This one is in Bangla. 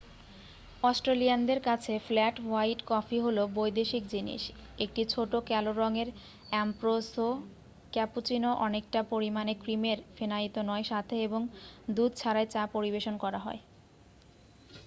অস্ট্রেলিয়ানদের কাছে 'ফ্ল্যাট হোয়াইট' কফি হলো বৈদেশিক জিনিস। একটি ছোট কালো রঙের 'এস্প্রেসো' ক্যাপুচিনো অনেকটা পরিমাণে ক্রিমের ফেনায়িত নয় সাথে এবং দুধ ছাড়াই চা পরিবেশন করা হয়।